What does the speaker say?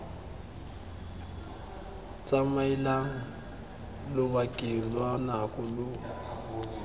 tsamaelang lobakeng lwa nako lo